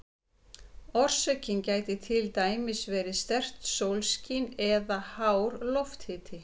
Orsökin getur til dæmis verið sterkt sólskin eða hár lofthiti.